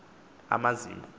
amazim